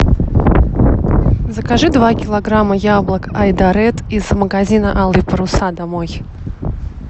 закажи два килограмма яблок айдаред из магазина алые паруса домой